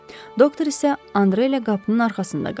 Doktor isə Andre ilə qapının arxasında qaldı.